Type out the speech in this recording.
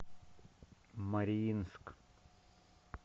мариинск